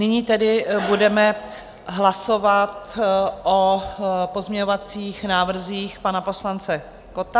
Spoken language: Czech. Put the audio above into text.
Nyní tedy budeme hlasovat o pozměňovacích návrzích pana poslance Kotta.